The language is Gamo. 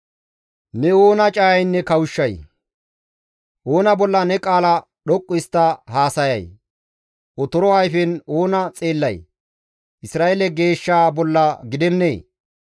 Ne oona cayaynne kawushshay? Oona bolla ne qaala dhoqqu histta haasayay? Otoro ayfen oona xeellay? Isra7eele Geeshshaa bolla gidennee!